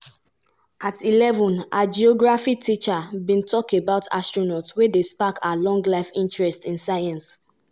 "dat na wen i fall in love wit science."